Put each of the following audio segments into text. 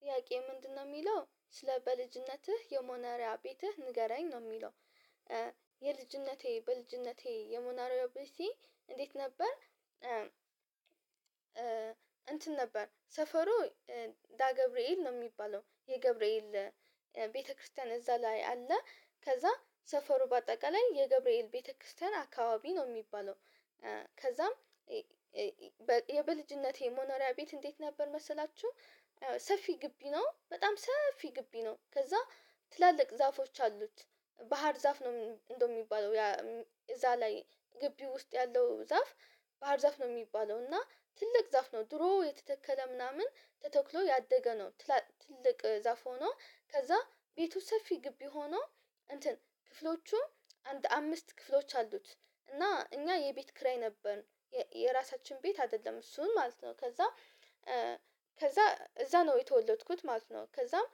ጥያቄ ምንድነው የሚለው ስለ በልጅነትህ የሞነሪያ ቤትህ ንገረኝ ነው የሚለው? እ የልጅነቴ በልጅነቴ የሞነሪያ ቤቴ እንዴት ነበር እም እንትን ነበር ሰፈሩ እ ዳ ገብርኤል ነው የሚባለው የገብርኤል ቤተክርስቲያን እዛ ላይ አለ ከዛ ሰፈሩ በአጠቃላይ የገብርኤል ቤተክርስቲያን አካባቢ ነው። የሚባለው እ ከዛም እ እ በ የበልጅነቴ ሞኖሪያ ቤት እንዴት ነበር መሰላችሁ? ያው ሰፊ ግቢ ነው በጣም ሰፊ ግቢ ነው። ከዛ ትላልቅ ዛፎች አሉት። ባህር ዛፍ ነው እንደው የሚባለው እም እዛ ላይ ግቢ ውስጥ ያለው ዛፍ ባህር ዛፍ ነው የሚባለው እና ትልቅ ዛፍ ነው ድሮ የተተከለ ምናምን ተተክሎ ያደገ ነው። ትልቅ ዛፍ ሆኖ ከዛ ቤቱ ሰፊ ግቢ ሆኖ እንትን ክፍሎቹም አንድ አምስት ክፍሎች አሉት። እና እኛ የቤት ክራይ ነበርን የራሳችን ቤት አይደለም እሱን ማለት ነው። ከዛ ከዛ እዛ ነው የተወለድኩት ማለት ነው። ከዛም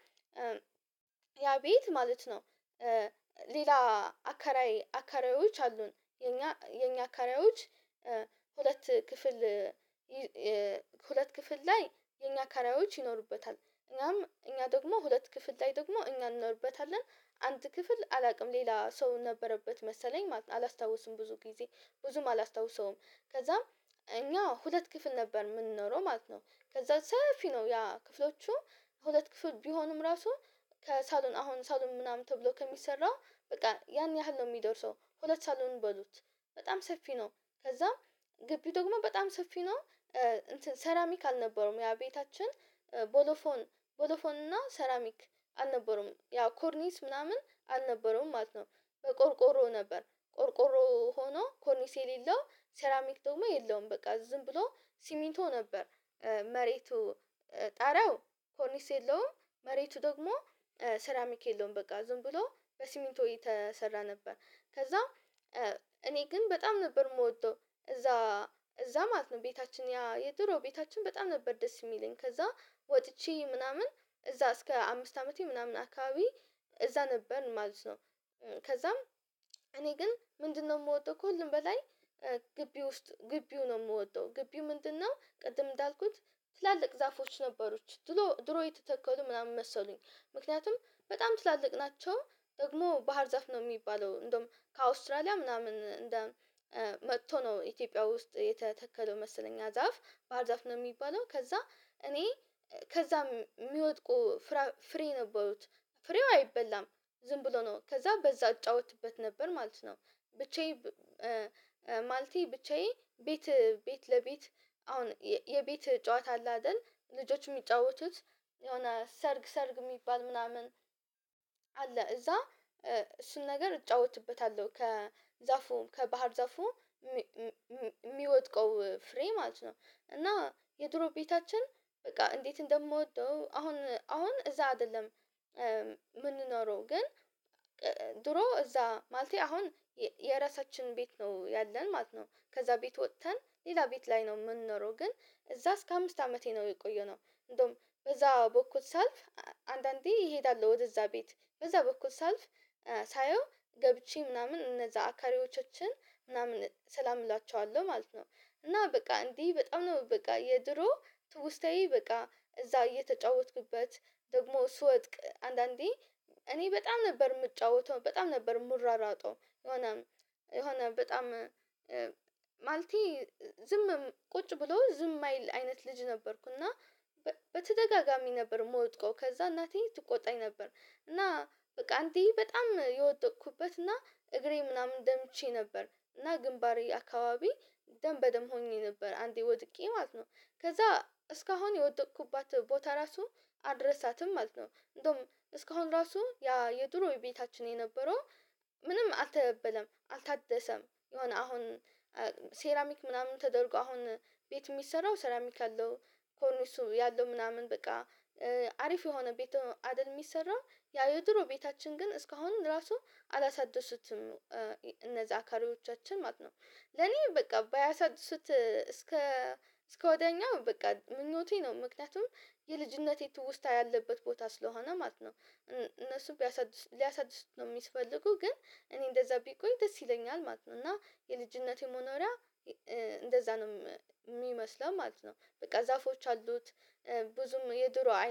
ያ ቤት ማለት ነው። ሌላ አከራይ አከራዮች አሉን የኛ የኛ አከራዮች ሁለት ክፍል ክፍል ላይ የኛ አከራዮች ይኖሩበታል እኛም እኛ ደግሞ ሁለት ክፍል ላይ ደግሞ እኛ እንኖርበታለን። አንድ ክፍል አላውቅም ሌላ ሰው ነበረበት መሰለኝ ማለት አላስታውስም ብዙ ጊዜ ብዙም አላስታውሰውም። ከዛም እኛ ሁለት ክፍል ነበር የምንኖረው ማለት ነው። ከዛ ሰፊ ነው ያ ክፍሎቹ ሁለት ክፍል ቢሆኑም ራሱ ከሳሎን አሁን ሳሎን ምናምን ተብሎ ከሚሰራው በቃ ያን ያህል ነው የሚደርሰው ሁለት ሳሎን በሉት። በጣም ሰፊ ነው። ከዛም ግቢው ደግሞ በጣም ሰፊ ነው። እንትን ሰራሚክ አልነበረውም ያ ቤታችን ቦሎፎን ቦሎፎን እና ሰራሚክ አልነበረውም ያው ኮርኒስ ምናምን አልነበረውም ማለት ነው። በቆርቆሮ ነበር ቆርቆሮ ሆኖ ኮርኒስ የሌለው ሴራሚክ ደግሞ የለውም በቃ ዝም ብሎ ሲሚንቶ ነበር። መሬቱ ጣሪያው ኮርኒስ የለውም መሬቱ ደግሞ ሰራሚክ የለውም በቃ ዝም ብሎ በሲሚንቶ የተሰራ ነበር። ከዛ እኔ ግን በጣም ነበር የምወደው እዛ እዛ ማለት ነው ቤታችን ያ የድሮ ቤታችን በጣም ነበር ደስ የሚለኝ። ከዛ ወጥቼ ምናምን እዛ እስከ አምስት አመቴ ምናምን አካባቢ እዛ ነበርን ማለት ነው። ከዛም እኔ ግን ምንድነው የምወደው ከሁሉም በላይ። ግቢ ውስጥ ግቢው ነው የምወደው። ግቢው ምንድነው? ቅድም እንዳልኩት ትላልቅ ዛፎች ነበሩት ድሎ ድሮ የተተከሉ ምናምን መሰሉኝ ምክንያቱም በጣም ትላልቅ ናቸው። ደግሞ ባህር ዛፍ ነው የሚባለው እንደውም ከአውስትራሊያ ምናምን እንደ መጥቶ ነው ኢትዮጵያ ውስጥ የተተከለው መሰለኝ ያ ዛፍ ባህርዛፍ ነው የሚባለው። ከዛ እኔ ከዛም የሚወድቁ ፍሬ ነበሩት ፍሬው አይበላም ዝም ብሎ ነው ከዛ በዛ እጫወትበት ነበር ማለት ነው። ብቻዬ ማለቴ ብቻዬን ቤት ቤት ለቤት አሁን የቤት ጨዋታ አለ አይደል? ልጆች የሚጫወቱት የሆነ ሰርግ ሰርግ የሚባል ምናምን። አለ እዛ እሱን ነገር እጫወትበታለሁ። ከዛፉ ከባህር ዛፉ የሚወድቀው ፍሬ ማለት ነው። እና የድሮ ቤታችን በቃ እንዴት እንደምወደው አሁን አሁን እዛ አይደለም። ምንኖረው ግን ድሮ እዛ ማለቴ አሁን የራሳችን ቤት ነው ያለን ማለት ነው ከዛ ቤት ወጥተን ሌላ ቤት ላይ ነው የምንኖረው ግን እዛ እስከ አምስት አመቴ ነው የቆየነው። እንደውም በዛ በኩል ሳልፍ አንዳንዴ እሄዳለሁ ወደዛ ቤት በዛ በኩል ሳልፍ ሳየው ገብቼ ምናምን እነዛ አከራዮቻችን ምናምን ሰላም እላቸዋለሁ ማለት ነው። እና በቃ እንዲህ በጣም ነው በቃ የድሮ ትውስታዬ በቃ እዛ እየተጫወትኩበት ደግሞ ስወድቅ አንዳንዴ እኔ በጣም ነበር የምጫወተው በጣም ነበር የምሯሯጠው። የሆነ የሆነ በጣም ማለቴ ዝምም ቁጭ ብሎ ዝም አይል አይነት ልጅ ነበርኩና። በተደጋጋሚ ነበር የምወድቀው ከዛ እናቴ ትቆጣኝ ነበር። እና በቃ አንዴ በጣም የወደቅኩበት እና እግሬ ምናምን ደምቼ ነበር እና ግንባሬ አካባቢ ደም በደም ሆኜ ነበር አንዴ ወድቄ ማለት ነው። ከዛ እስካሁን የወደቅኩባት ቦታ ራሱ አልረሳትም ማለት ነው። እንደውም እስካሁን ራሱ ያ የድሮ ቤታችን የነበረው ምንም አልተበለም አልታደሰም። የሆነ አሁን ሴራሚክ ምናምን ተደርጎ አሁን ቤት የሚሰራው ሴራሚክ አለው። ኮርኒሱ ያለው ምናምን በቃ አሪፍ የሆነ ቤት አደል የሚሰራ። ያ የድሮ ቤታችን ግን እስካሁን ራሱ አላሳደሱትም። እነዛ አከራዮቻችን ማለት ነው። ለኔ በቃ ባያሳድሱት እስከ እስከ ወዲያኛው በቃ ምኞቴ ነው ምክንያቱም የልጅነቴ ትውስታ ያለበት ቦታ ስለሆነ ማለት ነው። እነሱ ቢያሳድስ ሊያሳድሱት ነው የሚስፈልጉ ግን እኔ እንደዛ ቢቆይ ደስ ይለኛል ማለት ነው። እና የልጅነቴ መኖሪያ እንደዛ ነው የሚመስለው ማለት ነው። በቃ ዛፎች አሉት። ብዙም የድሮ አይ